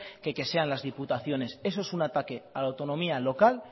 o que sean las diputaciones eso es un ataque a la autonomía local